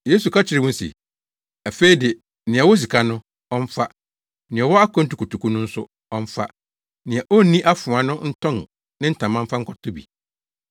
Yesu ka kyerɛɛ wɔn se, “Afei de, nea ɔwɔ sika no, ɔmfa; nea ɔwɔ akwantu kotoku no nso, ɔmfa. Nea onni afoa no ntɔn ne ntama mfa nkɔtɔ bi.